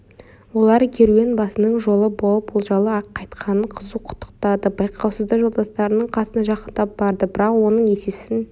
олар керуенбасының жолы болып олжалы қайтқанын қызу құттықтады байқаусызда жолдастарының қасына жақындап барды бірақ оның есесін